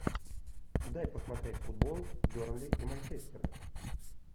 дай посмотреть футбол бернли и манчестер